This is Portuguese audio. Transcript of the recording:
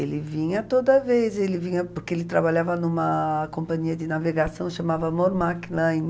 Ele vinha toda vez, ele vinha porque ele trabalhava em uma companhia de navegação, chamava Mormac Line.